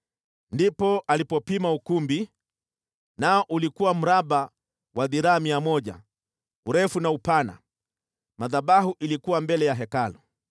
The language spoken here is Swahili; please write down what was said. Ndipo alipopima ukumbi: nao ulikuwa mraba wa dhiraa mia moja urefu na upana. Madhabahu yalikuwa mbele ya Hekalu.